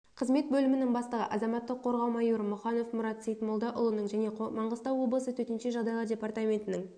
қызмет бөлімінің бастығы азаматтық қорғау майоры мұханов мұрат сейтмолдаұлының және маңғыстау облысы төтенше жағдайлар департаментінің